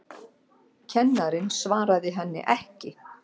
Kennarinn svaraði henni ekki.